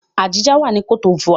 Abidjan wà ní cote d'Ivoire.